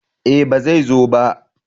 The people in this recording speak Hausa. Eh ba zai zo ba